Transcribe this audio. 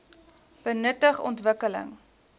benutting ontwik keling